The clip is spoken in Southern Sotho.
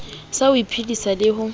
sa ho iphedisa le ho